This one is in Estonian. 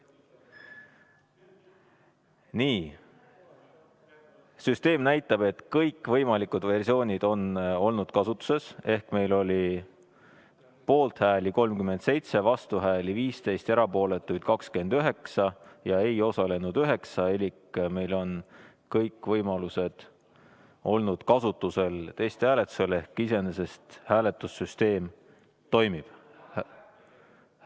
Nii, süsteem näitab, et kõikvõimalikud versioonid on olnud kasutuses ehk meil oli poolthääli 37, vastuhääli 15, erapooletuid 29 ja ei osalenud 9 elik meil on testhääletusel olnud kõik võimalused kasutusel ehk iseenesest hääletussüsteem toimib.